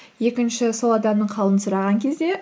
екінші сол адамның қалын сұраған кезде